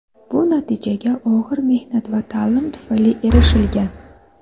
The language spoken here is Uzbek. Bu natijaga og‘ir mehnat va ta’lim tufayli erishilgan.